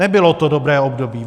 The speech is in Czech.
Nebylo to dobré období.